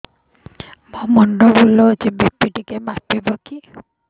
ମୋ ମୁଣ୍ଡ ବୁଲାଉଛି ବି.ପି ଟିକିଏ ମାପିବ କି